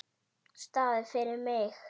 Staðir fyrir mig.